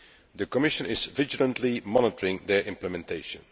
The Commission is vigilantly monitoring their implementation.